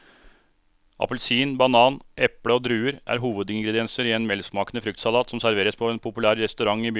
Appelsin, banan, eple og druer er hovedingredienser i en velsmakende fruktsalat som serveres på en populær restaurant i byen.